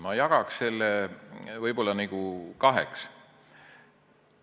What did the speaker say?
Ma jagaks selle võib-olla kaheks.